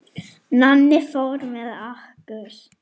Nonni fór með okkur.